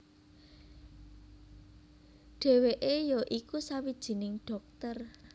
Dheweke ya iku sawijining dhokter